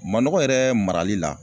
Manɔgɔ yɛrɛ marali la